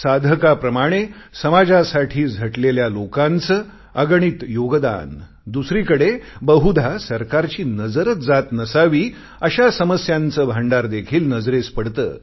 साधकाप्रमाणे समाजासाठी झटलेल्या लोकांचे अगणित योगदान दुसरीकडे बहुधा सरकारची नजरच जात नसावी अशा समस्यांचे भांडार देखील नजरेस पडते